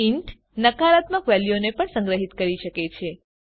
int નકારાત્મક વેલ્યુઓને પણ સંગ્રહીત કરી શકે છે